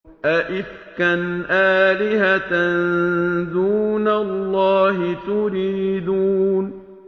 أَئِفْكًا آلِهَةً دُونَ اللَّهِ تُرِيدُونَ